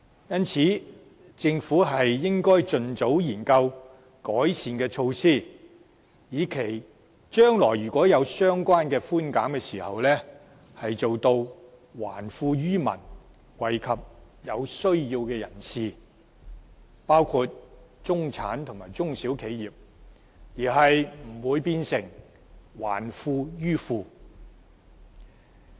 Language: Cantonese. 因此，政府應盡早研究改善的措施，以期將來如果有相關的寬減時做到還富於民，惠及有需要的人士，包括中產人士和中小企，而不會變成"還富於富"。